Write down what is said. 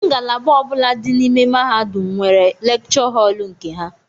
Ngalaba ọbula dị n'ime mahadum nwere lekchọ họl nke ha.